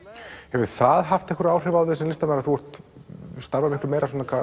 hefur það haft einhver áhrif á þig sem listamann að þú starfar miklu meira